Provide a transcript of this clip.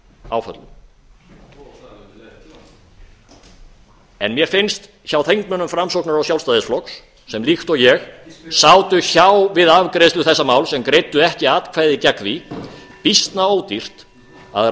þessum áföllum en mér finnst hjá þingmönnum framsóknar og sjálfstæðisflokks sem líkt og ég sátu hjá við afgreiðslu þessa máls en greiddu ekki atkvæði gegn því býsna ódýrt að